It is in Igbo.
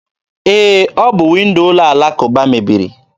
E, ọ bụ windo ụlọ alakụba mebiri.